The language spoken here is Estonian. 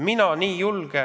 Mina seda ei julge.